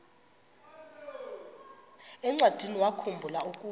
encwadiniwakhu mbula ukuba